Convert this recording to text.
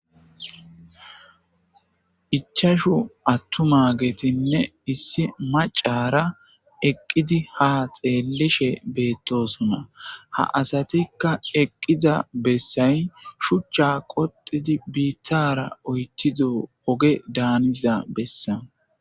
Ichashu atumagetine isi maccara eqidi ha xelishe betosona ha asatika eqida besayi shucha qoxiddi bittara oyithido ogge danidda bessani